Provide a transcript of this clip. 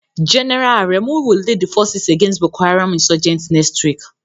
General Aremu will lead the forces against Boko Haram insurgents next week.